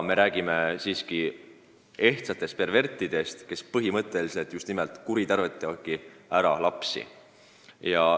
Me räägime ehtsatest pervertidest, kes põhimõtteliselt just nimelt lapsi kuritarvitavad.